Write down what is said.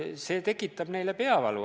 See tekitab neile peavalu.